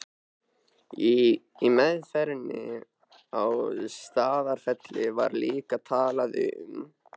Í meðferðinni á Staðarfelli var líka talað um